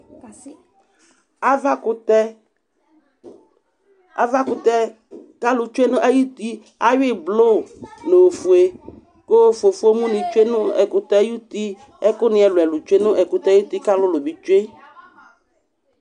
Avakʋtɛ, avakʋtɛ k'alʋ tsue nay'uti ayui yi blʋ n'ofue kʋ fofo ni tsue nʋ ɛkʋtɛ ay'uti, ɛkʋni ɛlʋ ɛlʋ tsue nʋ ɛkʋtɛ ay'uti, k'alʋlʋ bi tsue